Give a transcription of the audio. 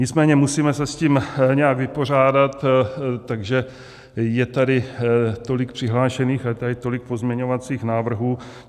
Nicméně musíme se s tím nějak vypořádat, takže je tady tolik přihlášených a je tady tolik pozměňovacích návrhů.